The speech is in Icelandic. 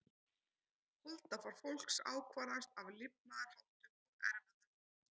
Holdafar fólks ákvarðast af lifnaðarháttum og erfðum.